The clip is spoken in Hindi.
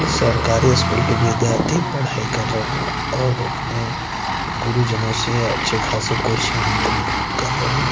ये सरकारी स्कूल की विद्यार्थी पढ़ाई कर रहे हैं और अपने गुरुजनों से अच्छे खासे क्वेश्चन क कर रहे--